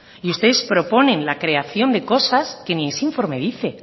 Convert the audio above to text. y ustedes proponen la creación de cosas que ni ese informe dice